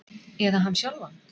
Eða hann sjálfan?